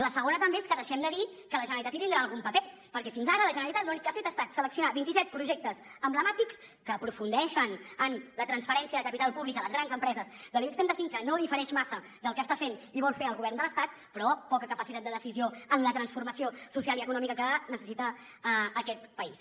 la segona també és que deixem de dir que la generalitat hi tindrà algun paper perquè fins ara la generalitat l’únic que ha fet ha estat seleccionar vinti set projectes emblemàtics que aprofundeixen en la transferència de capital públic a les grans empreses de l’ibex trenta cinc que no difereix massa del que està fent i vol fer el govern de l’estat però poca capacitat de decisió en la transformació social i econòmica que necessita aquest país